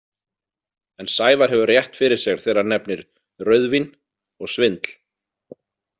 En Sævar hefur rétt fyrir sér þegar hann nefnir „rauðvín“ og „svindl“.